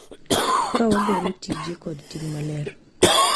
Ka wagolo tije kod ting' maler,